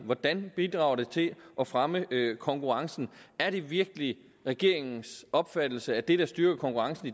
hvordan det bidrager til at fremme konkurrencen er det virkelig regeringens opfattelse at det der styrker konkurrencen